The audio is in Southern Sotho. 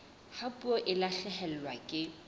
ha puo e lahlehelwa ke